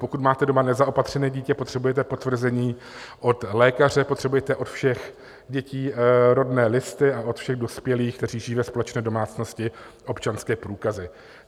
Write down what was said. Pokud máte doma nezaopatřené dítě, potřebujete potvrzení od lékaře, potřebujete od všech dětí rodné listy a od všech dospělých, kteří žijí ve společné domácnosti, občanské průkazy.